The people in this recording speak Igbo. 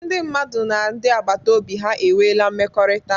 Ndị mmadụ na ndị agbata obi ha enweela mmekọrịta.